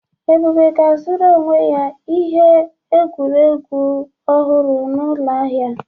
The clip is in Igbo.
Ebube ga-azụrụ onwe ya ihe egwuregwu ọhụrụ n'ụlọ ahịa.